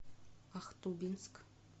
ахтубинск